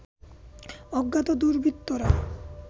অজ্ঞাত দুর্বৃত্তরা